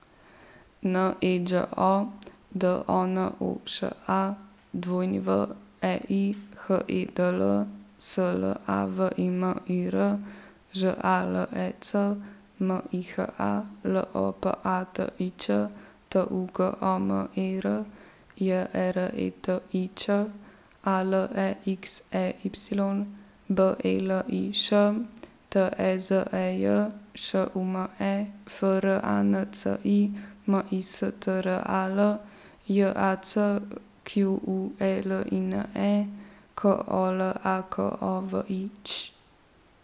N E Đ O, D O N O Š A; W E I, H E D L; S L A V I M I R, Ž A L E C; M I H A, L O P A T I Č; T U G O M E R, J E R E T I Č; A L E X E Y, B E L I Š; T E Z E J, Š U M E; F R A N C I, M I S T R A L; J A C Q U E L I N E, K O L A K O V I Ć.